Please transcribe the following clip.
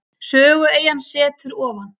Sögueyjan setur ofan.